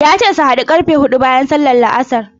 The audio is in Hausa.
Ya ce su haɗu ƙarfe huɗu bayan sallar La'asar.